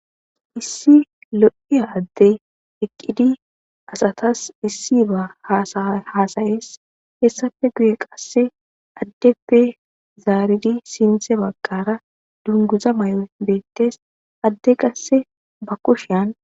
Issi lo'iya addey asatas issiba hasaya hassayes hessappe guye qase aaddeppe zaaridi sinththe baggara dunguza mayoy beettes adde qase ba kushshiyan